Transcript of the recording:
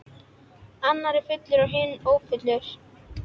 Annar er fullur en hinn ófullur.